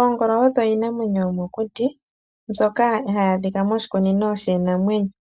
Oongolo odho iinamwenyo yomokuti mbyoka hayi adhika moshikunino shiinamwenyo.